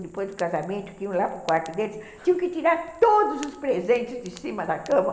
Depois do casamento, que iam lá para o quarto deles, tinham que tirar todos os presentes de cima da cama.